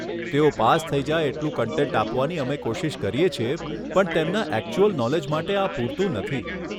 તેઓ પાસ થઈ જાય એટલું કન્ટેન્ટ આપવાની અમે કોશિશ કરીએ છીએ પણ તેમના એકચ્યુલ નોલેજ માટે આ પૂરતું નથી.